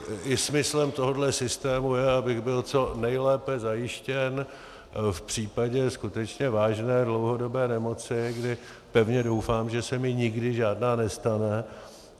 I smyslem tohoto systému je, abych byl co nejlépe zajištěn v případě skutečně vážné dlouhodobé nemoci, kdy pevně doufám, že se mi nikdy žádná nestane.